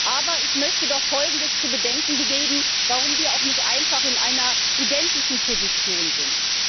Aber ich möchte doch Folgendes zu bedenken geben, warum wir auch nicht in einer identischen Position sind.